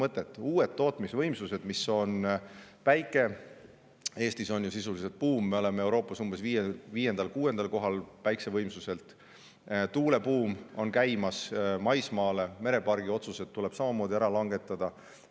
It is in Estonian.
On uued tootmisvõimsused, näiteks päike buum on Eestis sisuliselt – me oleme Euroopas päikesevõimsuselt umbes 5.–6. kohal –, maismaa tuule buum on käimas ja mereparkide kohta tuleb otsused samamoodi ära langetada.